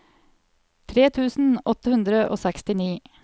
tre tusen åtte hundre og sekstini